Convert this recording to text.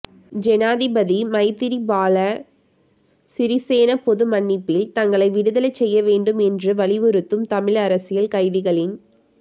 ஜனாதிபதி மைத்திரிபால சிறிசேன பொதுமன்னிப்பில் தங்களை விடுதலை செய்ய வேண்டும் என்று வலியுறுத்தும் தமிழ் அரசியல் கைதிகளின்